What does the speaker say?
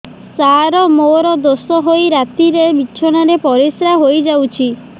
ସାର ମୋର ଦୋଷ ହୋଇ ରାତିରେ ବିଛଣାରେ ପରିସ୍ରା ହୋଇ ଯାଉଛି